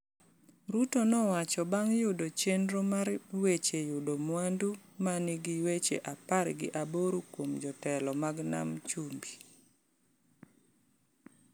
Ruto nowacho bang’ yudo chenro mar weche yudo mwandu ma nigi weche apar gi aboro kuom jotelo mag nam chumbi.